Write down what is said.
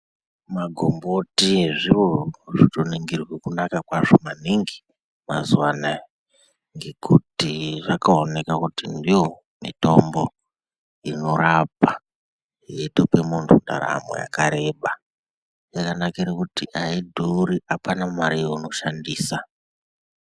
Magomboti zviro zvinotoningirwe kunaka kwazvo maningi mazuwa anaya, ngekuti zvakaomeka kuti ndomitombo inorapa yeitopa muntu ntaramo yakareba. Yakanakire kuti aidhuri apana mare yeunoshandisa.